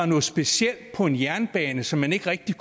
noget specielt på en jernbane som man ikke rigtig